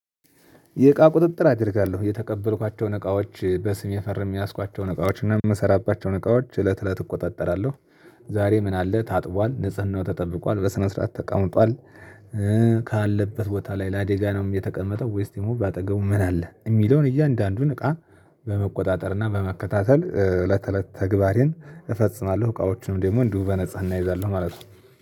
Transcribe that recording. የእቃ ቁጥጥር አደርጋለሁ። የተቀበልኳቸውን እቃዎች በስም የፈርሜ የያዝኳቸውን እቃዎች እና የምሰራባቸውን እቃዎች እለት እለት እቆጣጠራለሁ ዛሬ ምን አለ ታጥቧል፣ ንጽህናው ተጠብቋል፣ በስነ ስርዓት ተቀምጧል፣ ካለበት ቦታ ላይ ለአደጋ ነው የተቀመጠው ወይስ ደግሞ በአጠገቡ ምን አለ የሚለውን እያንዳንዱን እቃ በመቆጣጠር እና በመከታተል እለት እለት ተግባሬን እፈጽማለሁ እቃዎቹንም ደግሞ እንዲሁ በንጽህና እንይዛለን ማለት ነው።